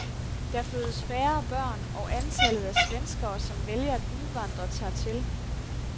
Der fødes færre børn, og antallet af svenskere, som vælger at udvandre, tager til.